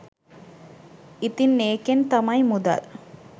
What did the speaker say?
ඉතින් ඒකෙන් තමයි මුදල්